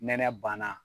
Nɛnɛ banna